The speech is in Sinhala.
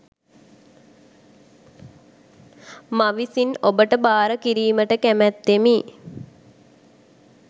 මවිසින් ඔබ ට භාර කිරීමට කැමැත්තෙමි